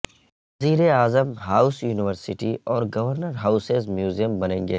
وزیر اعظم house university اور گورنر ہاوسز میوزیم بنیں گے